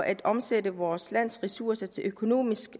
at omsætte vores lands ressourcer til økonomisk